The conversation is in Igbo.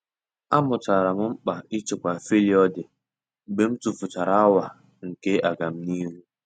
A mụtara m mkpa ịchekwa faịlụ dị mgbe m tufuchara awa nke agamnihu.